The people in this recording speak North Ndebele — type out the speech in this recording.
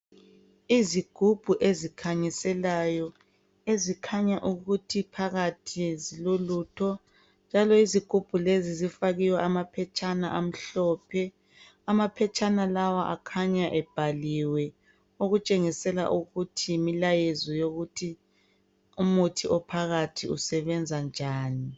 Izigubhu ezikhanyiselayo ezikhanya ukuthi phakathi zilolutho njalo izigubhu lezi zifakiwe amaphetshana amhlophe amaphetshana lawa akhanya ebhaliwe okutshengisela ukuthi yimilayezo yokuthi umuthi ophakathi usebenza njani .